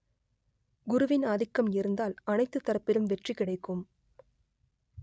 குருவின் ஆதிக்கம் இருந்தால் அனைத்து தரப்பிலும் வெற்றி கிடைக்கும்